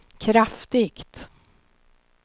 kraftigt